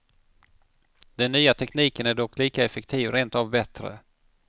Den nya tekniken är dock lika effektiv, rent av bättre.